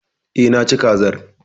Eh, Naci kazar